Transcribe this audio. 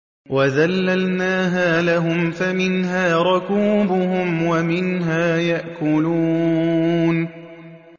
وَذَلَّلْنَاهَا لَهُمْ فَمِنْهَا رَكُوبُهُمْ وَمِنْهَا يَأْكُلُونَ